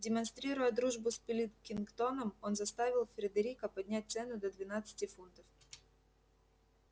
демонстрируя дружбу с пилкингтоном он заставил фредерика поднять цену до двенадцати фунтов